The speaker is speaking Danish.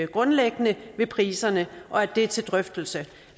grundlæggende ved priserne og at det er til drøftelse